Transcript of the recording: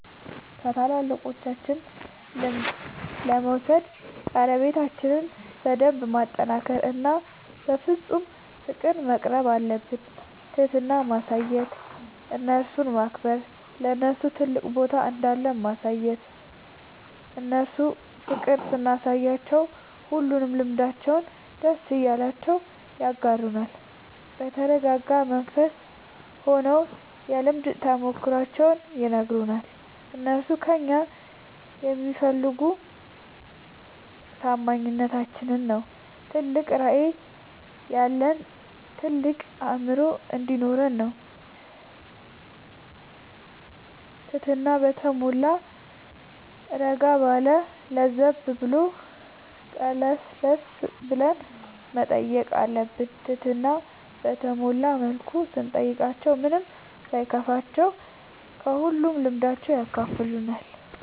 ከታላላቆቻችን ልምድ ለመውሰድ ቀረቤታችን በደንብ ማጠናከር እና በፍፁም ፍቅር መቅረብአለብን። ትህትና ማሳየት እነርሱን ማክበር ለነርሱ ትልቅ ቦታ እንዳለን ማሳየት እነርሱ ፍቅር ስናሳያቸው ሁሉንም ልምዳቸውን ደስ እያላቸው ያጋሩናል። በተረጋጋ መንፈስ ሆነው የልምድ ተሞክሯቸውን ይነግሩናል። እነርሱ ከእኛ የሚፈልጉ ታማኝነታችን ነው ትልቅ ራዕይ ያለን ታልቅ አእምሮ እንዲኖረን ነው ትህትና በተሟላ እረጋ ባለ ለዘብ ብሎ ቀለስለስ ብለን መጠየቅ አለብን ትህትና በተሞላ መልኩ ስንጠይቃቸው ምንም ሳይከፋቸው ከሁሉም ልምዳቸው ያካፍሉናል።